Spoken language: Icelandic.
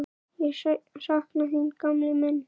Ég sakna þín, gamli minn.